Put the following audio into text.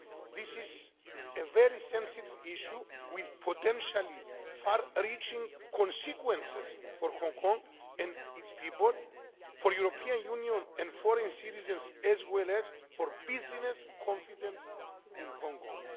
This is a very sensitive issue with potentially far reaching consequences for Hong Kong and its people, for the European Union and foreign citizens, as well as for business confidence in Hong Kong.